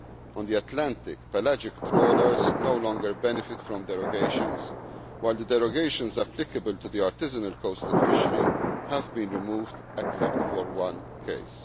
On the Atlantic, pelagic trawlers no longer benefit from derogations, while the derogations applicable to the artisanal coastal fishery have been removed, except for one case.